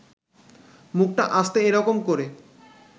মুখটা আস্তে এ রকম করে